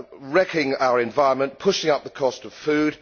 wrecking our environment and pushing up the cost of food.